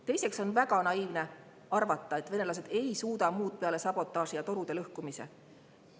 Teiseks on väga naiivne arvata, et venelased ei suuda muud peale sabotaaži ja torude lõhkumise.